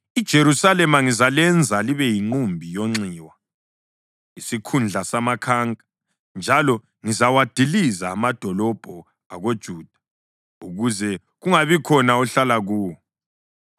“IJerusalema ngizalenza libe yinqumbi yonxiwa, isikhundla samakhanka, njalo ngizawadiliza amadolobho akoJuda ukuze kungabikhona ohlala kuwo.”